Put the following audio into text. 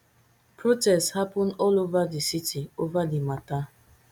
protests happun all ova di city ova di mata